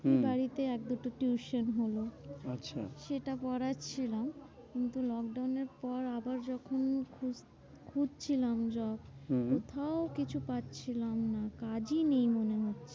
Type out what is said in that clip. হম বাড়িতে এক দুটো tuition হলো। আচ্ছা সেটা পড়াচ্ছিলাম কিন্তু lockdown এর পর আবার যখন খুঁজ~ খুঁজছিলাম job হম হম কোথাও কিছু পাচ্ছিলাম না কাজই নেই মনে হচ্ছে।